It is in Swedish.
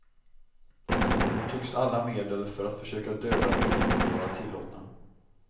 Då tycks alla medel för att försöka döda fienden vara tillåtna.